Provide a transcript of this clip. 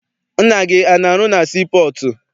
Nna gị ana arụ na sii pọọtụ?